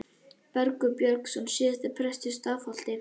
Bergur Björnsson, síðar prestur í Stafholti.